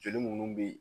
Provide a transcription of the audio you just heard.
Joli munnu be yen